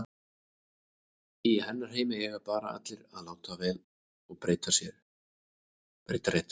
Í hennar heimi eiga bara allir að láta vel og breyta rétt.